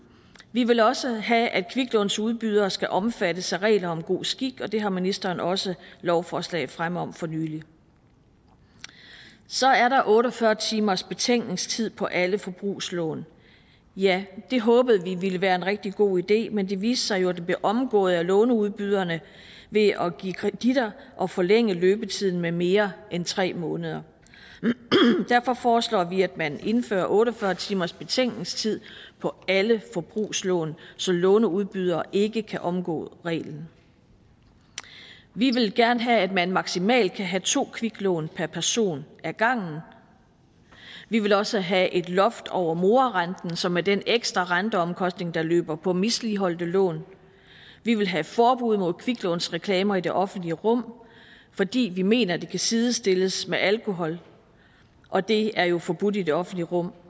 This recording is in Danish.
vi vil også have at kviklånsudbydere skal omfattes af regler om god skik og det har ministeren også lovforslag fremme om for nylig så er der otte og fyrre timersbetænkningstid på alle forbrugslån ja det håbede vi ville være en rigtig god idé men det viste sig jo at det bliver omgået af låneudbyderne ved at give kreditter og forlænge løbetiden med mere end tre måneder derfor foreslår vi at man indfører otte og fyrre timersbetænkningstid på alle forbrugslån så låneudbydere ikke kan omgå reglen vi vil gerne have at man maksimalt kan have to kviklån per person ad gangen vi vil også have et loft over morarenten som er den ekstra renteomkostning der løber på misligholdte lån vi vil have forbud mod kviklånsreklamer i det offentlige rum fordi vi mener det kan sidestilles med alkohol og det er jo forbudt i det offentlige rum